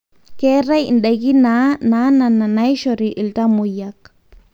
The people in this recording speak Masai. keetae ndaiki naa nana naishori iltamoyiak